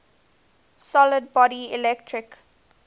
solid body electric